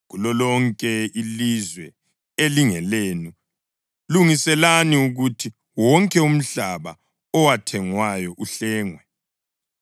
Kulolonke ilizwe elingelenu, lungiselani ukuthi wonke umhlaba owathengwayo uhlengwe.